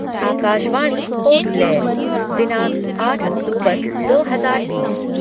आकाशवाणी पोर्टब्लेयर दिनांक आठ अक्तूबर दो हजार बीस